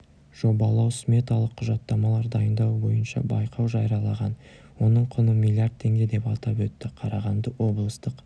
жобалау-сметалық құжаттамалар дайындау бойынша байқау жариялаған оның құны миллиард теңге деп атап өтті қарағанды облыстық